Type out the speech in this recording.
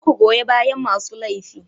Kar ku goya bayan masu laifi.